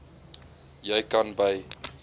jy kan by